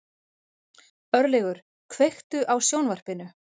Örlygur, kveiktu á sjónvarpinu.